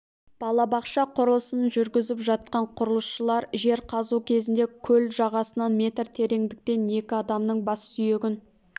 балабақша құрылысын жүргізіп жатқан құрылысшыларжер қазу кезінде көл жағасынан метр тереңдіктен екі адамның бас сүйегін